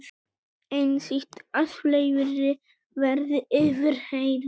Einsýnt að fleiri verði yfirheyrðir